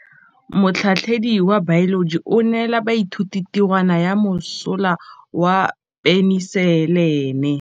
Motlhatlhaledi wa baeloji o neela baithuti tirwana ya mosola wa peniselene.